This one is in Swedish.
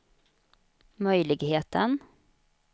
möjligheten